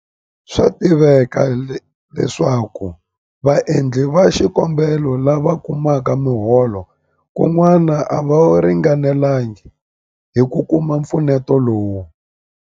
Swa tiveka leswaku vaendli va xikombelo lava kumaka miholo kun'wana a va ringanelanga hi ku kuma mpfuneto lowu.